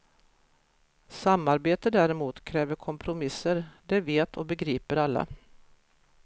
Samarbete däremot kräver kompromisser, det vet och begriper alla.